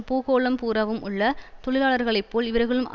பூகோளம் பூராவும் உள்ள தொழிலாளர்களை போல் இவர்களும்